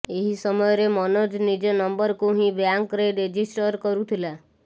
ଏହି ସମୟରେ ମନୋଜ ନିଜ ନମ୍ବରକୁ ହିଁ ବ୍ୟାଙ୍କରେ ରେଜିଷ୍ଟର କରୁଥିଲା